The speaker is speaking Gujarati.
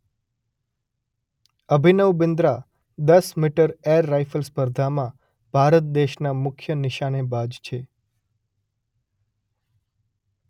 અભિનવ બિંદ્રા દસ મીટર એર રાયફલ સ્પર્ધામાં ભારત દેશના મુખ્ય નિશાનેબાજ છે.